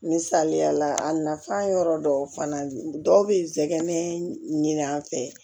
Misaliya la a nafa yɔrɔ dɔw fana dɔw bɛ tɛgɛn an fɛ